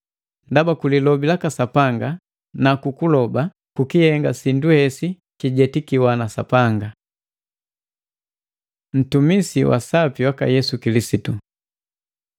Ndaba lilobi laka Sapanga nukuloba bikihenga sindu hesi kijetikika na Sapanga. Ntumisi wa sapi waka Yesu Kilisitu